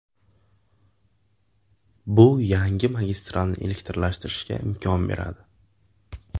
Bu yangi magistralni elektrlashtirishga imkon beradi.